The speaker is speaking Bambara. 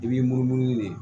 I b'i munumunu de